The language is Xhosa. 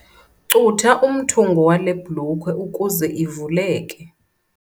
Cutha umthungo wale blukhwe ukuze ivuleke.